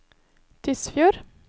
Tysfjord